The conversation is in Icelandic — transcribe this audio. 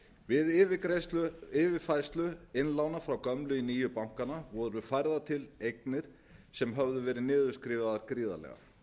við yfirfærslu innlána frá gömlu í nýju bankana voru færðar til eignir sem höfðu meira niðurskrifaðar gríðarlega